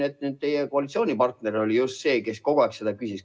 Teie koalitsioonipartner oli just see, kes kogu aeg selle kohta küsis.